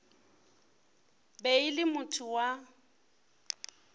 be e le motho wa